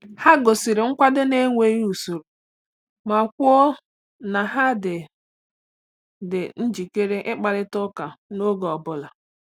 Ha gosiri nkwado n’enweghị usoro ma kwuo na ha dị dị njikere ịkparịta ụka n’oge ọ bụla.